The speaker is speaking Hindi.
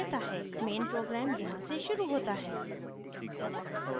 main program यहाँ से शुरू होता है